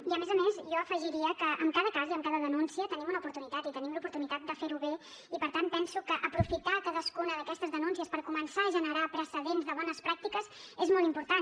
i a més a més jo afegiria que en cada cas i amb cada denúncia tenim una oportunitat i tenim l’oportunitat de fer ho bé i per tant penso que aprofitar cadascuna d’aquestes denúncies per començar a generar precedents de bones pràctiques és molt important